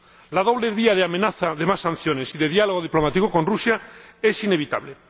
La doble vía de amenaza de más sanciones y de diálogo diplomático con Rusia es inevitable.